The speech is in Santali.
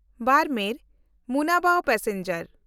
ᱵᱟᱨᱢᱮᱨ–ᱢᱩᱱᱟᱵᱟᱣ ᱯᱮᱥᱮᱧᱡᱟᱨ